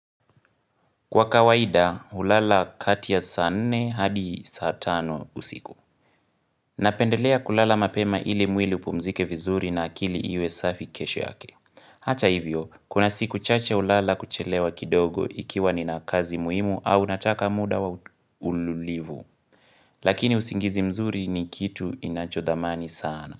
Kwa kawaida, hulala kati ya saa nne hadi saa tano usiku. Napendelea kulala mapema ili mwili upumzike vizuri na akili iwe safi kesho yake. Hata hivyo, kuna siku chache hulala kuchelewa kidogo ikiwa nina kazi muhimu au nataka muda wa ululivu. Lakini usingizi mzuri ni kitu inachodhamani sana.